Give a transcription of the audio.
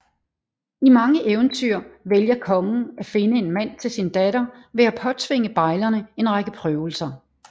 I mange eventyr vælger kongen at finde en mand til sin datter ved at påtvinge bejlerne en række prøvelser